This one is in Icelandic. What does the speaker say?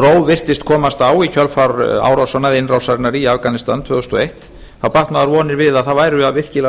ró virtist komast á í kjölfar árásanna eða innrásarinnar í afganistan tvö þúsund og eitt batt maður vonir við að það væru virkilega að